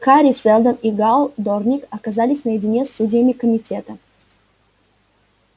хари сэлдон и гаал дорник оказались наедине с судьями комитета